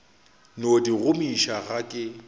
no di gomiša ga ke